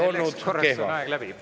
Selleks korraks on aeg läbi.